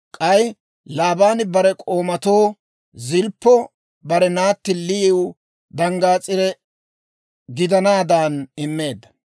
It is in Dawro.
K'ay Laabaani bare k'oomatoo Zilppo bare naatti Liyiw danggaas'ire gidanaadan immeedda.